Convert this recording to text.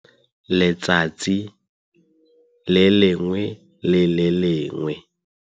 letsatsi le lengwe le le lengwe.